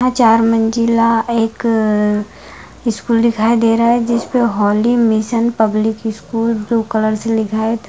चार मंजिला एक स्कूल दिखाई दे रहा है जिसपे holy mission public school blue colour से लिखा है।